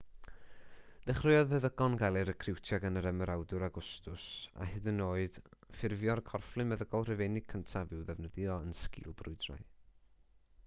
dechreuodd feddygon gael eu recriwtio gan yr ymerawdwr awgwstws a hyd yn oed ffurfio'r corfflu meddygol rhufeinig cyntaf i'w ddefnyddio yn sgìl brwydrau